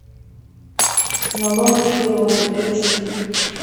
на лоне природы эйч ди